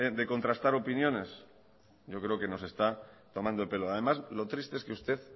de contrastar opiniones yo creo que nos está tomando el pelo además lo triste es que usted